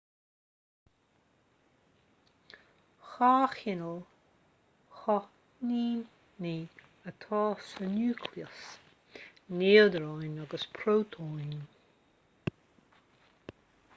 dhá chineál cáithníní atá sa núicléas neodróin agus prótóin